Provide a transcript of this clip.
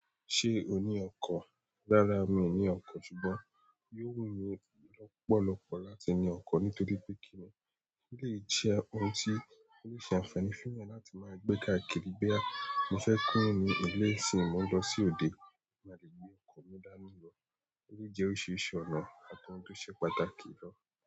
Ṣé o ni ọkọ̀? Rárá, mi ò ní ọkọ̀, ṣùgbọ́n yóò wù mí lọ́pọ̀lọ́pọ̀ láti ní ọkọ̀ nítorí pé kí ni eleyi jẹ́ ohun tí ó lè ṣe ànfàní fún èèyàn láti máa gbé káàkiri. Boya mo fẹ́ kúrò ní ilé nisín mo lọ sí ode, máa lè gbé ọkọ̀ mi dání lọ. Ó jẹ́ oríṣiríṣi ọ̀nà àti ohun tó ṣe pàtàkì gan.